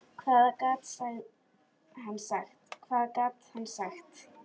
Hvað gat hann sagt?